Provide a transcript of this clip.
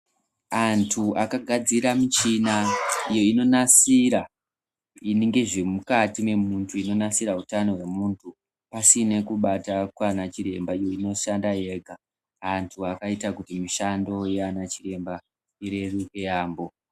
Antu akagadzira michina iyo inonasira ngezvemukati mwemuntu inonasira utano hwemuntu pasina kubata kwana chiremba inoshanda yega antu akaita kuti mushando yana chiremba ireruke yaambo